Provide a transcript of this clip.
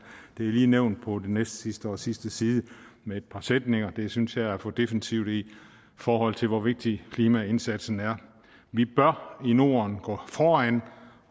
lige nævnt på den næstsidste og sidste side med et par sætninger det synes jeg er for defensivt i forhold til hvor vigtig klimaindsatsen er vi bør i norden gå foran